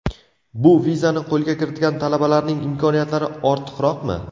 Bu vizani qo‘lga kiritgan talabalarning imkoniyatlari ortiqroqmi?